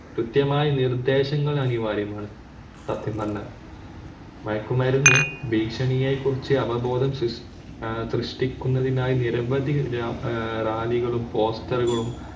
കൃത്യമായി നിർദേശങ്ങൾ അനിവാര്യമാണ് മതമല്ല മയക്കുമരുന്ന് ഭീഷണിയെ കുറിച്ച് അവബോധം സൃഷ്ടിക്കുന്നതിനായി വിരവതി റാലികളും poster റുകളും